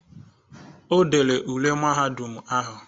O dere ule mahadum ahụ.